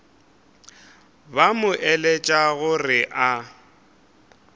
ba mo eletša gore a